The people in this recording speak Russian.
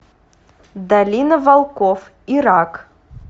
долина волков ирак